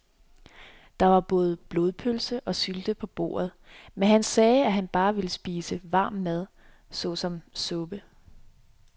Der var både blodpølse og sylte på bordet, men han sagde, at han bare ville spise varm mad såsom suppe.